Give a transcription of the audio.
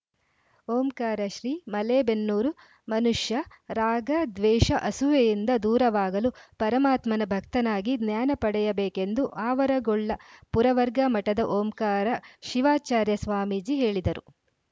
ಓಂಕಾರ ಶ್ರೀ ಮಲೇಬೆನ್ನೂರು ಮನುಷ್ಯ ರಾಗ ದ್ವೇಷ ಅಸೂಯೆಯಿಂದ ದೂರವಾಗಲು ಪರಮಾತ್ಮನ ಭಕ್ತನಾಗಿ ಜ್ಞಾನ ಪಡೆಯಬೇಕೆಂದು ಆವರಗೊಳ್ಳ ಪುರವರ್ಗ ಮಠದ ಓಂಕಾರ ಶಿವಾಚಾರ್ಯ ಸ್ವಾಮೀಜಿ ಹೇಳಿದರು